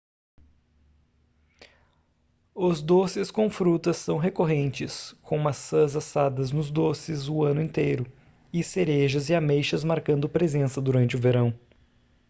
os doces com frutas são recorrentes com maçãs assadas nos doces o ano inteiro e cerejas e ameixas marcando presença durante o verão